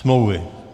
Smlouvy.